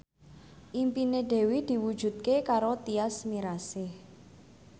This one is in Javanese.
impine Dewi diwujudke karo Tyas Mirasih